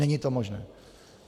Není to možné.